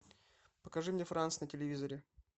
покажи мне франс на телевизоре